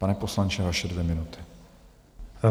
Pane poslanče, vaše dvě minuty.